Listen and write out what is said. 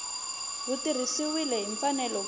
wu tirhisiwile hi mfanelo ku